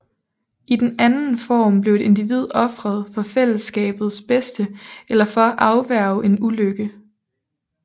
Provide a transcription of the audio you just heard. I den anden form blev et individ ofret for fællesskabets bedste eller for at afværge en ulykke